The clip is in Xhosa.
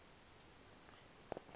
wothi ke ulale